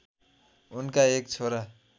उनका एक छोरा